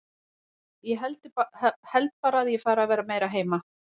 Úff, ég held bara að ég fari að vera meira heima.